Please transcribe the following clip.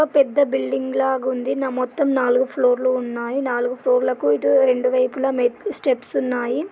ఇదో పెద్ద బిల్డింగ్ లాగుంది నా మొత్తం నాలుగు ఫ్లోర్లు ఉన్నాయ నాలుగు ఫ్లోర్ లకు ఇటు రెండు వైపులా మెట్లు స్టెప్స్ ఉన్నాయి.